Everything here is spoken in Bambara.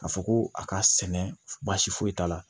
K'a fɔ ko a ka sɛnɛ baasi foyi t'a la